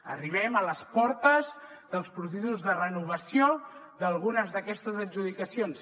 arribem a les portes dels processos de renovació d’algunes d’aquestes adjudicacions